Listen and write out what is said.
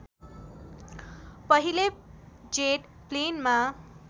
पहिले जेट प्लेनमा